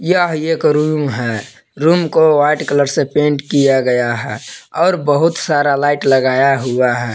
यह रूम है रूम को व्हाइट कलर से पेंट किया गया है और बहुत सारा लाइट लगाया है।